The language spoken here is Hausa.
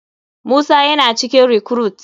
Musa yana cikin recruite.